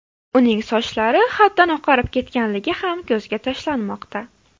Uning sochlari haddan oqarib ketganligi ham ko‘zga tashlanmoqda.